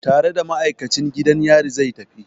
Tare da ma'aikacin gidan yari zai tafi?